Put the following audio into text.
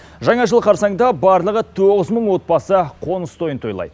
жаңа жыл қарсаңында барлығы тоғыз мың отбасы қоныс тойын тойлайды